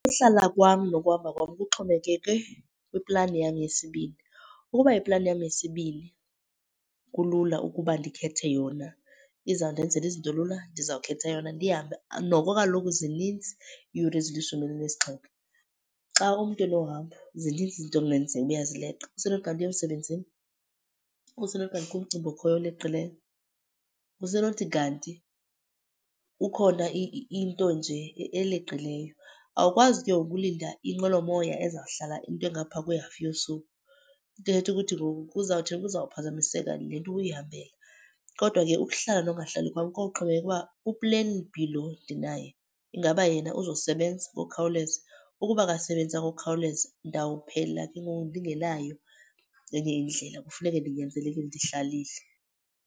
Uhlala kwam nokuhamba kwam kuxhomekeke kwiplani yam yesibini. Ukuba iplani yam yesibini kulula ukuba ndikhethe yona, izawundenzela izinto lula, ndizawukhetha yona ndihambe. Noko kaloku zininzi iyure ezilishumi elinesixhenxe. Xa umntu enohambo zininzi izinto ekungenzeka uba uyazileqa. Usenokuthi kanti uya emsebenzini, kusenokuthi kanti kukho umcimbi ooleqileyo, kusenokuthi kanti ukhona into nje eleqileyo. Awukwazi ke ukulinda inqwelomoya ezawuhlala into engapha kwehafu yosuku, into ethetha ukuthi ngoku kuzawuthini kuzawuphazamiseka le nto ubuyihambele. Kodwa ke ukuhlala nokungahlali kwam kowuxhomekeka uba u-plan B lo ndinaye, ingaba yena uzosebenza ngokukhawuleza. Ukuba akasebenzanga ngokukhawuleza ndawuphela ke ngoku ndingenayo enye indlela, kufuneke ndinyanzelekile ndihlalile.